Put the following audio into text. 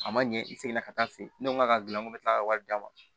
A ma ɲɛ i segin na ka taa fɛ yen ne ko n k'a ka gilan ko n bɛ tila ka wari d'a ma